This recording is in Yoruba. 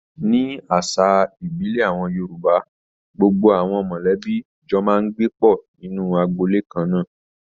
Nínú àṣà ìbílẹ̀ àwọn Yorùbá, gbogbo àwọn mọ̀lẹ́bí jọ máa ń gbé pọ̀ nínú agboolé kannáà.